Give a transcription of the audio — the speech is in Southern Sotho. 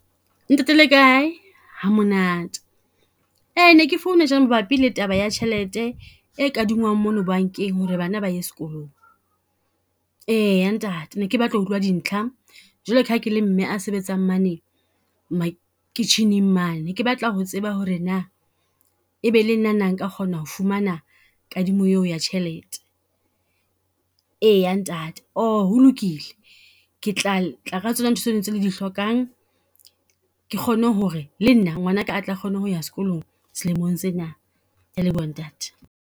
Ntate le kae, hamonate. Ne ke phone-a mabapi le taba ya tjhelete e kadingwang mono bankeng ho re bana ba ye sekolong. Eya ntate ne ke batla ho utlwa dintlha jwaloka ha ke le mme a sebetsang mane makitjheneng mane. Ke batla ho tseba ho re na, e be le nna na nka kgona ho fumana kadimo e o ya tjhelete. E ya ntate, ho lokile, ke tla tla ka tsona ntho tseno tse le di hlokang ke kgone ho re le nna ngwanaka a tla kgone ho ya sekolong selemong sena. Ke a leboha ntate.